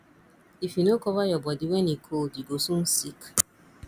if you no cover your body when e cold you go soon sick